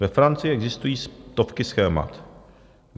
Ve Francii existují stovky schémat.